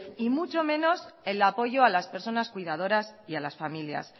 y mucho menos el apoyo a las personas cuidadoras y a las familias